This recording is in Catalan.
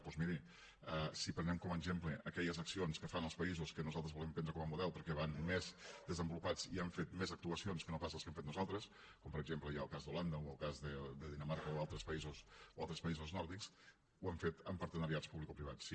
doncs miri si prenem com a exemple aquelles accions que fan els països que nosaltres volem prendre com a model perquè van més desenvolupats i han fet més actuacions que no pas les que hem fet nosaltres com per exemple hi ha el cas d’holanda o el cas de dinamarca o altres països nòrdics ho han fet amb partenariats publicoprivats sí